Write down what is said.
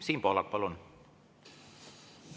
Siim Pohlak, palun!